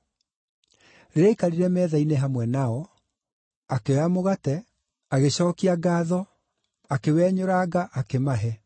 Rĩrĩa aikarire metha-inĩ hamwe nao, akĩoya mũgate, agĩcookia ngaatho, akĩwenyũranga, akĩmahe.